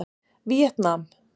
Víetnam